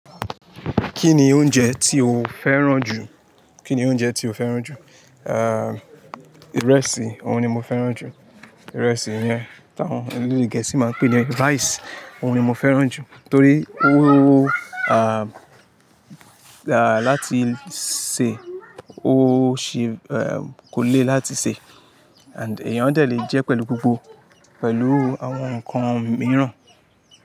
Kí ni oúnjẹ tí o féràn jù? Kí ni oúnjẹ tí o féràn jù? Ah, ìrẹsì, òhun ni mo féràn jù. Ìrẹsì yẹn táwọn ẹlẹ́de Gẹ̀ẹ́sì máa n pè ní rice, òhun ni mo féràn jù torí o ah, láti sè, o sì eh, kò le láti sè and èèyàn dè le jẹ pẹ̀lú gbogbo pẹ̀lú àwọn ǹkan mìíràn.